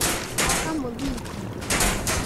Gwaka mũthingi.